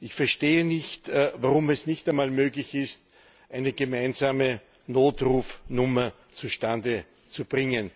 Ich verstehe nicht, warum es nicht einmal möglich ist, eine gemeinsame Notrufnummer zustande zu bringen.